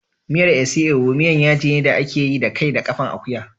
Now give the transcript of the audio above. Miyar isi ewu miyan yaji ne da ake yi da kai da ƙafan akuya.